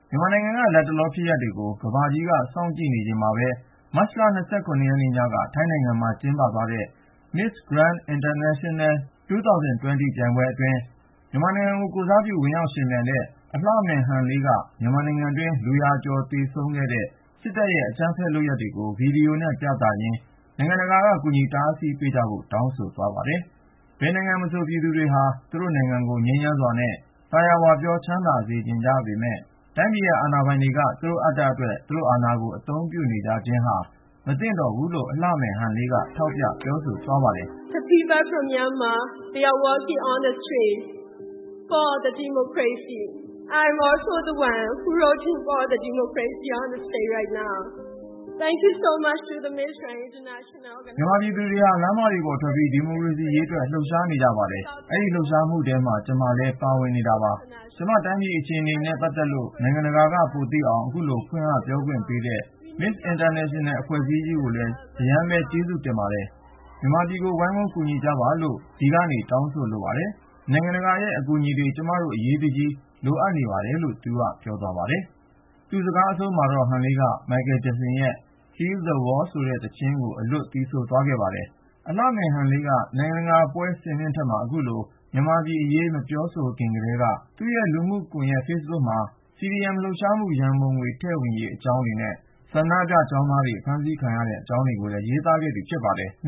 မြန်မာနိုင်ငံက လတ်တလောဖြစ်ရပ်တွေကို ကမ္ဘာကြီးက စောင့်ကြည့်နေချိန်မှာပဲ မတ်လ(၂၇)ရက်နေ့ ညက ထိုင်းနိုင်ငံမှာ ကျင်းပသွားတဲ့ 'Miss Grand International 2020' ပြိုင်ပွဲအတွင်း မြန်မာနိုင်ငံကိုယ်စားပြု ဝင်ရောက်ယှဉ်ပြိုင်တဲ့ အလှမယ် 'ဟန်လေး' က မြန်မာနိုင်ငံတွင်း လူရာကျော်သေဆုံးခဲ့တဲ့ စစ်တပ်ရဲ့ အကြမ်းဖက် လုပ်ရပ်ကို ဗီဒီယိုနဲ့ ပြသရင်း နိုင်ငံတကာက ကူညီတားဆီးပေးကြဖို့ တောင်းဆို သွားပါတယ်။ ဘယ်နိုင်ငံမှာမဆို ပြည်သူတွေဟာ သူတို့ တိုင်းပြည်ကို ငြိမ်းချမ်းစွာနဲ့ သာယာဝပြော ချမ်းသာစေချင်ကြပေမယ့် တိုင်းပြည်ရဲ့အာဏာပိုင်တွေက သူတို့အတ္တအတွက် အာဏာကို အသုံးပြုနေခြင်းဟာ မသင့်တော်ဘူးလို့ အလှမယ် ဟန်လေးက ထောက်ပြ ပြောဆိုသွားပါတယ်။ " မြန်မာပြည်သူတွေဟာ လမ်းမတွေပေါ်ထွက်ပြီး ဒီမိုကရေစီရေးအတွက် လှုပ်ရှားနေကြပါတယ်။ အဲဒီလှုပ်ရှားမှုထဲမှာ ကျမလည်း ပါဝင်နေတာပါ။ ကျမ တိုင်းပြည်အခြေအနေနဲ့ ပတ်သက်လို့ နိုင်ငံတကာက ပိုသိလာအောင် အခုလို ဖွင့်ဟ ပြောကြားခွင့်ပေးတဲ့ Miss International အဖွဲ့အစည်းကြီးကိုလည်း အရမ်းပဲ ကျေးဇူးတင်ပါတယ်။ မြန်မာပြည်ကြီးကို ဝိုင်းဝန်းကူညီကြပါလို့ ဒီကနေ ကျမ တောင်းဆိုချင်ပါတယ်။ နိုင်ငံတကာရဲ့ အကူအညီတွေ ကျမတို့ အရေးတကြီး လိုအပ်နေတာပါ .." လို့ ပြောသွားပါတယ်။ သူ့စကားအဆုံးမှာတော့ ဟန်လေးက မိုက်ကယ်ဂျက်ဆင်ရဲ့ Heal the World ဆိုတဲ့ သီချင်းကို အလွတ် သီဆိုသွားခဲ့ပါတယ်။ အလှမယ် ဟန်လေးက နိုင်ငံတကာပွဲ စင်မြင့်ထက်မှာ အခုလို မြန်မာပြည်အရေး မပြောဆိုခင်ကတည်းက သူမရဲ့လူမှုကွန်ယက် ဖေ့စ်ဘွတ်ပေါ်မှာ CDM လှုပ်ရှားမှု ရံပုံငွေထည့်ဝင်ရေး အကြောင်းတွေနဲ့ ဆန္ဒပြကျောင်းသားတွေ အဖမ်းဆီး ခံရတဲ့ အကြောင်းတွေကိုလည်း ရေးသားခဲ့သူ ဖြစ်ပါတယ်။